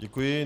Děkuji.